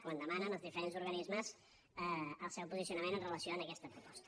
quan demana als diferents organismes el seu posicionament amb relació a aquesta proposta